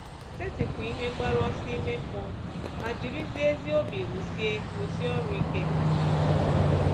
Setịpụ ihe mgbaru ọsọ ime mmụọ, ma jirizie ezi obi rụsie rụsie ọrụ ike.